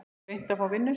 Reyna að fá vinnu?